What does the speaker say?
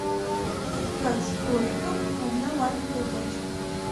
кит кат с кроликом одна маленькая пачка